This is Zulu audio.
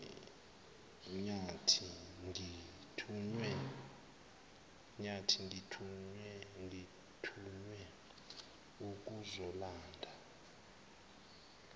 nyathi ngithunywe ukuzolanda